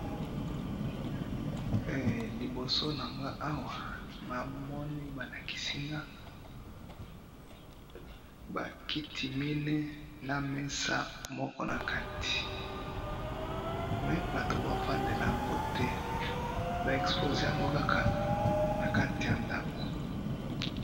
Liboso nanga awa, namoni balakisinga bakiti mine, namesa moko nakati, mais bato baofandela yango te, ba exposé yango kaka nakati yandako